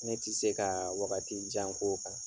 Ne tɛ se ka wagati jan k'o kan.